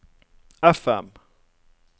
FM